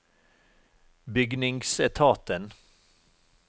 bygningsetaten